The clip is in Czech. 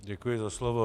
Děkuji za slovo.